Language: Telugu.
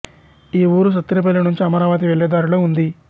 ఈ ఊరు సత్తెనపల్లి నుంచి అమరావతి వెళ్ళే దారిలో ఉంది